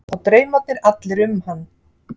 Og draumarnir allir um hann.